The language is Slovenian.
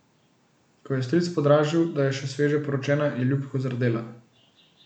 Ko jo je stric podražil, da je še sveže poročena, je ljubko zardela.